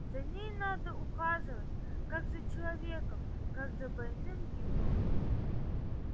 за ней надо ухаживать как за человеком как за больным ребёнком